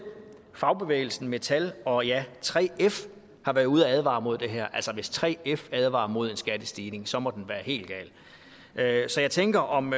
fagbevægelsen dansk metal og ja 3f har været ude og advare mod det her altså hvis 3f advarer mod en skattestigning så må den være helt gal så jeg tænker om